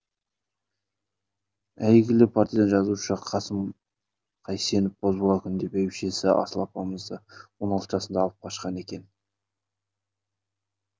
әйгілі партия жазушы қасым қайсенов бозбала күнінде бәйбішесі асыл апамызды он алты жасында алып қашқан екен